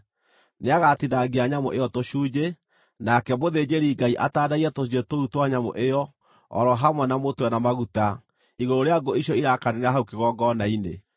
Nĩagatinangia nyamũ ĩyo tũcunjĩ, nake mũthĩnjĩri-Ngai atandaiye tũcunjĩ tũu twa nyamũ ĩyo, o ro hamwe na mũtwe na maguta, igũrũ rĩa ngũ icio irakanĩra hau kĩgongona-inĩ.